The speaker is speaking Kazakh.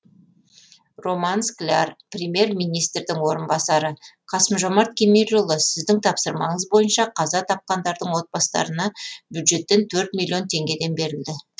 роман скляр премьер министрінің орынбасары қасым жомарт кемелұлы сіздің тапсырмаңыз бойынша қаза тапқандардың отбасыларына бюджеттен төрт миллион теңгеден берілді